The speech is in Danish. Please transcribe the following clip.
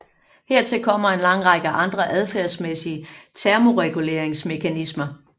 Hertil kommer en lang række andre adfærdsmæssige termoreguleringsmekanismer